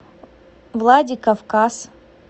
владикавказ